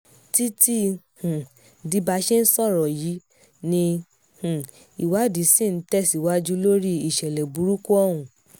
títí um di bá a ṣe ń sọ yìí ni um ìwádìí ṣì ń tẹ̀ síwájú lórí ìṣẹ̀lẹ̀ burúkú ọ̀hún